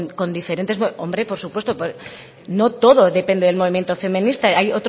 con diferentes hombre por supuesto no todo depende del movimiento feminista hay